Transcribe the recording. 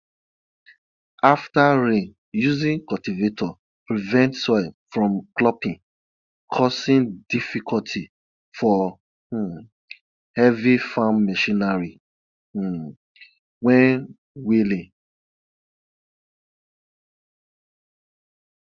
after rain using cultivator prevents soil from clumping causing difficulty for um heavy farm machinery um when wheeling